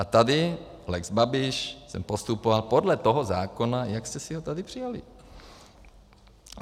A tady - lex Babiš - jsem postupoval podle toho zákona, jak jste si ho tady přijali.